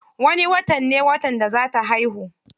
Wani watan ne watan da za ta haihu.